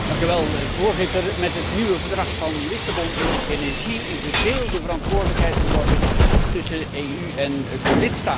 Voorzitter, met het nieuwe Verdrag van Lissabon is energie een gedeelde verantwoordelijkheid geworden tussen de EU en de lidstaten.